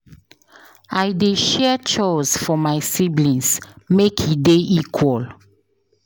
I dey share chores for my siblings make e dey equal.